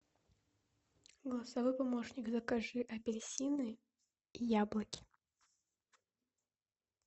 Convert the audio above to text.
голосовой помощник закажи апельсины и яблоки